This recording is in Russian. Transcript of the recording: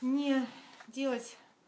не делать